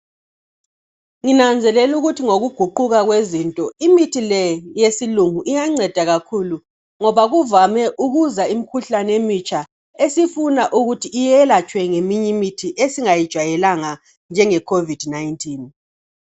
Nginanzelela ukuthi ngokuguquka kwezinto imithi le eyesilungu iyanceda kakhulu ngoba kuvame ukuza imikhuhlane emitsha esifuna ukuthi iyelatshwe ngeminye imithi esingayijwayelanga njenge"Covid-19"